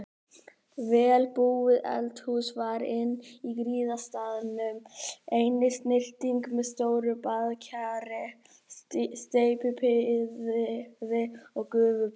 Vel búið eldhús var inn af griðastaðnum, einnig snyrting með stóru baðkeri, steypibaði og gufubaði.